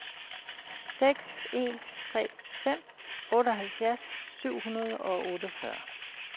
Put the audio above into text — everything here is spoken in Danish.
seks en tre fem otteoghalvfjerds syv hundrede og otteogfyrre